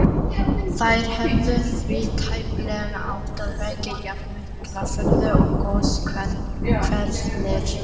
Þær hefðu því tæplega átt að vekja jafnmikla furðu og goshverirnir.